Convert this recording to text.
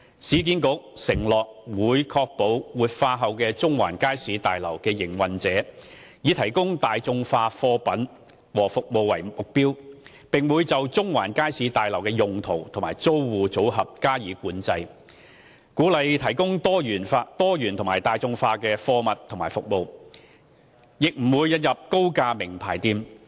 市建局承諾會確保活化後的中環街市大樓的營運者以提供大眾化貨品和服務為目標，並會就中環街市大樓的用途和租戶組合加以管制，鼓勵提供多元及大眾化的貨物和服務，亦不會引入高價名牌店。